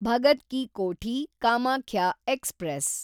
Bhagat ki Kothi Kamakhya express